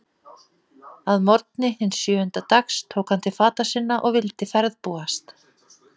Að morgni hins sjöunda dags tók hann til fata sinna og vildi ferðbúast.